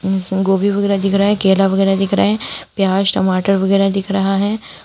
जिसमें गोभी वगैरा दिख रहा है केला वगैरह दिख रहा है प्याज टमाटर वगैरा दिख रहा है।